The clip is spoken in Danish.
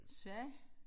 Sverige?